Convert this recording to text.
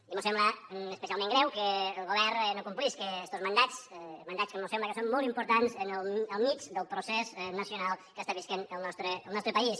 i mos sembla especialment greu que el govern no complisca estos mandats mandats que mos sembla que són molt importants al mig del procés nacional que està vivint el nostre país